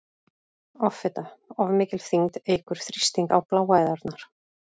Offita- Of mikil þyngd eykur þrýsting á bláæðarnar.